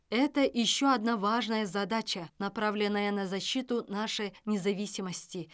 это еще одна важная задача направленная на защиту нашей независимости